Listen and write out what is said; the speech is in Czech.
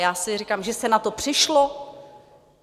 Já si říkám, že se na to přišlo?